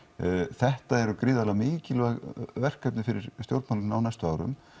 þetta eru gríðarlega mikilvæg verkefni fyrir stjórnmálin á næstu árum